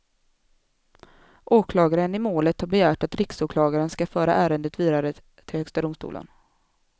Åklagaren i målet har begärt att riksåklagaren skall föra ärendet vidare till högsta domstolen.